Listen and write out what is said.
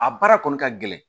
A baara kɔni ka gɛlɛn